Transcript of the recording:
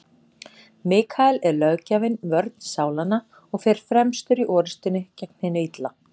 Mikael er löggjafinn, vörn sálanna, og fer fremstur í orrustunni gegn hinu illa.